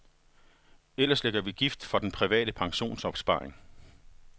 Ellers lægger vi gift for den private pensionsopsparing.